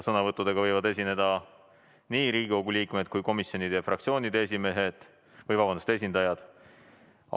Sõnavõtuga võivad esineda Riigikogu liikmed, komisjonide ja fraktsioonide esindajad.